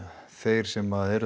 þeir sem eru